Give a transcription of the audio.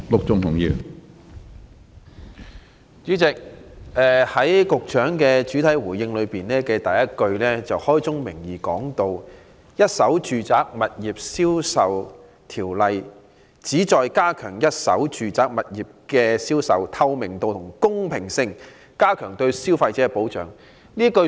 主席，局長主體答覆的第一句開宗明義提到："《一手住宅物業銷售條例》旨在加強一手住宅物業銷售的透明度及公平性、加強對消費者的保障"。